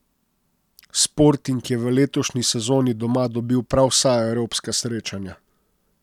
Sporting je v letošnji sezoni doma dobil prav vsa evropska srečanja.